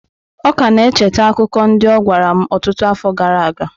Ọ ka na-echeta akụkọ ndị ọ gwara m ọtụtụ afọ gara aga.